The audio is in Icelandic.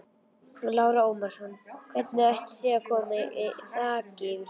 Lára Ómarsdóttir: Hvernig ætið þið að koma þaki yfir höfuðið?